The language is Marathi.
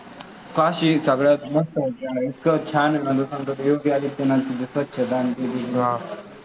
काशी सगळ्यात मस्त आहे, इतकं छान आहे ना, तुला सांगतो ना योगी आदित्यनाथची स्वच्छता आणि तिथं